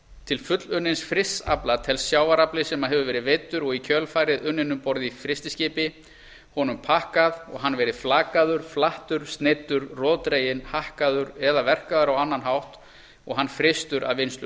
til fullunnins frysts afla telst sjávarafli sem hefur verið veiddur og í kjölfarið unninn um borð í frystiskipi honum pakkað og hann verið flakaður flattur sneiddur roðdreginn hakkaður eða verkaður á annan hátt og hann frystur að vinnslu